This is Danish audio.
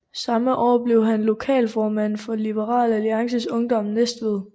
Samme år blev han lokalformand for Liberal Alliances Ungdom Næstved